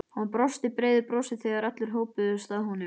Hann brosti breiðu brosi þegar allir hópuðust að honum.